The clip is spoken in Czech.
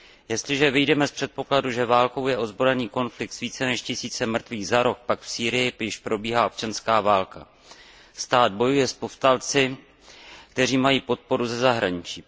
Jestliže vyjdeme z předpokladu, že válkou je ozbrojený konflikt s více než tisícem mrtvých za rok, pak v Sýrii již probíhá občanská válka. Stát bojuje s povstalci, kteří mají podporu ze zahraničí.